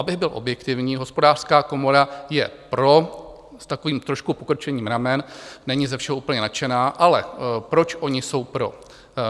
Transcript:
Abych byl objektivní, Hospodářská komora je pro s takovým trošku pokrčením ramen, není ze všeho úplně nadšená, ale proč oni jsou pro?